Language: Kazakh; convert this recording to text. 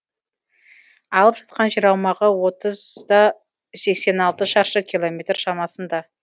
алып жатқан жер аумағы отыз да сексен алты шаршы километр шамасында